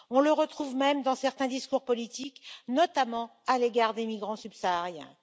On le retrouve même dans certains discours politiques, notamment à l'égard des migrants subsahariens.